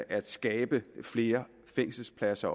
at skabe flere fængselspladser